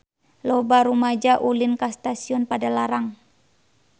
Loba rumaja ulin ka Stasiun Padalarang